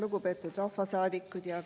Lugupeetud rahvasaadikud!